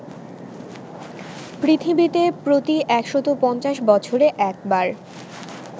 পৃথিবীতে প্রতি ১৫০ বছরে একবার